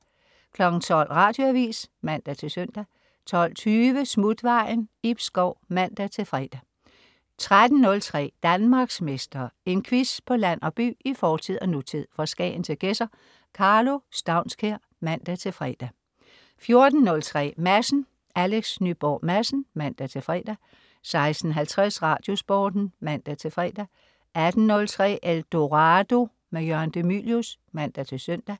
12.00 Radioavis (man-søn) 12.20 Smutvejen. Ib Schou (man-fre) 13.03 Danmarksmester. En quiz på land og by, i fortid og nutid, fra Skagen til Gedser. Karlo Staunskær (man-fre) 14.03 Madsen. Alex Nyborg Madsen (man-fre) 16.50 Radiosporten (man-fre) 18.03 Eldorado. Jørgen de Mylius (man-søn)